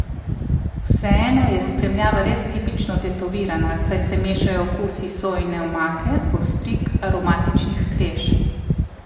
Vseeno je spremljava res tipično tetovirana, saj se mešajo okusi sojine omake, ostrig, aromatičnih kreš.